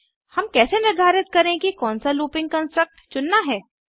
हम कैसे निर्धारित करें कि कौनसा लूपिंग कन्स्ट्रक्ट चुनना है160